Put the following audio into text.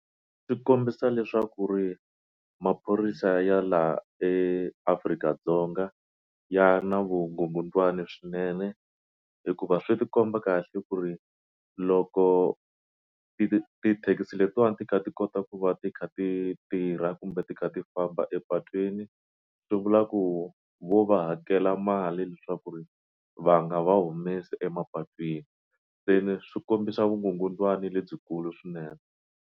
swi kombisa leswaku ri maphorisa ya laha eAfrika-Dzonga ya na vugungundzwana swinene hikuva swi ti komba kahle ku ri loko ti tithekisi letiwani ti kha ti kota ku va ti kha ti tirha kumbe ti kha ti famba epatwini swi vula ku vo va hakela mali leswaku ri va nga va humesi emapatwini se ni swi kombisa vugungundzwana lebyikulu swinene.